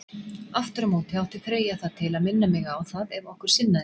Aftur á móti átti Freyja það til að minna mig á það, ef okkur sinnaðist.